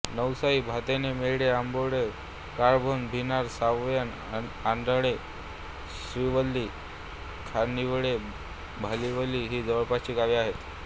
नवसाई भाताणे मेढे आंबोडे कळंभोण भिनार सायवन आडणे शिरवली खानिवडे भालीवली ही जवळपासची गावे आहेत